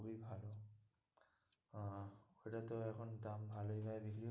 আহ ওটাতেও এখন দাম ভালোই হয় দেখি,